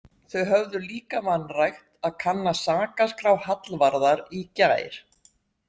Þau höfðu líka vanrækt að kanna sakaskrá Hallvarðar í gær.